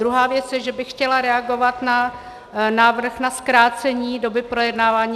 Druhá věc je, že bych chtěla reagovat na návrh na zkrácení doby projednávání.